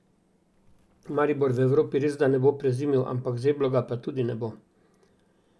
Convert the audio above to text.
Maribor v Evropi resda ne bo prezimil, ampak zeblo ga pa tudi ne bo.